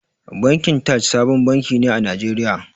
Bankin Taj sabon banki ne a Najeriya.